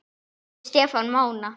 Eftir Stefán Mána.